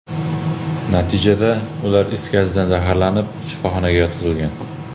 Natijada, ular is gazidan zaharlanib, shifoxonaga yotqizilgan.